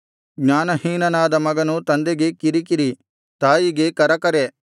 ಜ್ಞಾನಹೀನನಾದ ಮಗನು ತಂದೆಗೆ ಕಿರಿಕಿರಿ ತಾಯಿಗೆ ಕರಕರೆ